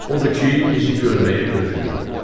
Odur ki, bizi görməyə gözü yoxdur.